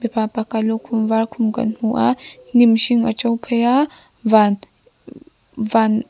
pa pakhat lukhum var khum kan hmu a hnim hring a to phei a van van --